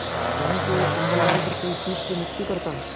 कहीं से एक कंबल डालकर कोई शीत से मुक्त करता